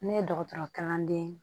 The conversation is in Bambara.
Ne ye dɔgɔtɔrɔ kalanden ye